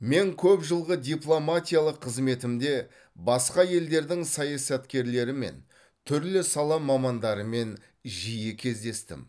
мен көп жылғы дипломатиялық қызметімде басқа елдердің саясаткерлерімен түрлі сала мамандарымен жиі кездестім